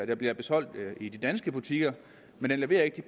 der bliver solgt i de danske butikker men det leverer ikke de